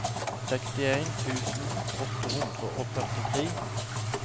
sekstien tusen åtte hundre og førtitre